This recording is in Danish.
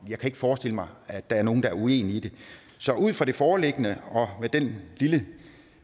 jeg kan ikke forestille mig at der er nogen der er uenige i det så ud fra det foreliggende og med den lille